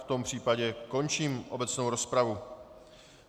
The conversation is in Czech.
V tom případě končím obecnou rozpravu.